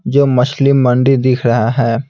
जो मछली मंडी दिख रहा है।